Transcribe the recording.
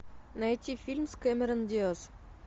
найти фильм с кэмерон диас